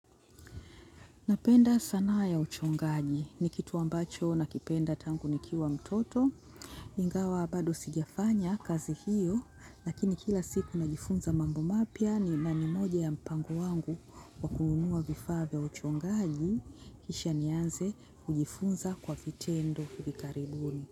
Napenda sanaa ya uchongaji. Ni kitu ambacho nakipenda tangu nikiwa mtoto. Ingawa bado sijafanya kazi hiyo. Lakini kila siku najifunza mambo mapya na ni nani moja ya mpango wangu wa kununua vifaa vya uchongaji. Kisha nianze kujifunza kwa vitendo hivi karibuni.